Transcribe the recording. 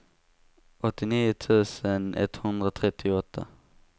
åttionio tusen etthundratrettioåtta